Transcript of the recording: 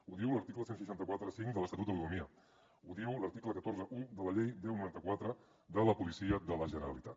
ho diu l’article setze quaranta cinc de l’estatut d’autonomia ho diu l’article cent i quaranta un de la llei deu noranta quatre de la policia de la generalitat